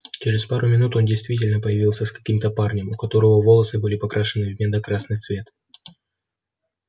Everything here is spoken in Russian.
через пару минут он действительно появился с каким-то парнем у которого волосы были покрашены в медно-красный цвет